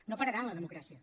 no pararan la democràcia